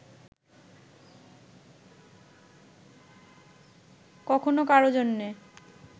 কখনো কারো জন্যে